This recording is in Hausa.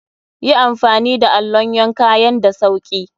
Yi amfani da allon yanka yan da sauki.